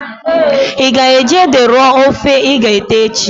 I ga eji ede rọọ ofe i g'ete echi?